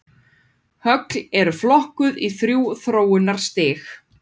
Högl eru flokkuð í þrjú þróunarstig.